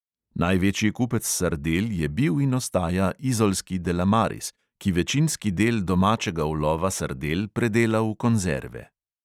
Največji kupec sardel je bil in ostaja izolski delamaris, ki večinski del domačega ulova sardel predela v konzerve.